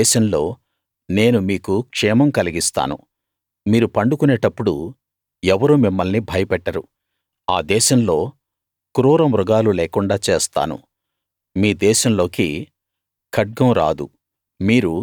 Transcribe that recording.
ఆ దేశంలో నేను మీకు క్షేమం కలిగిస్తాను మీరు పండుకొనేటప్పుడు ఎవరూ మిమ్మల్ని భయపెట్టరు ఆ దేశంలో క్రూరమృగాలు లేకుండా చేస్తాను మీ దేశంలోకి ఖడ్గం రాదు